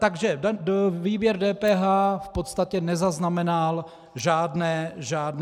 Takže výběr DPH v podstatě nezaznamenal žádné změny.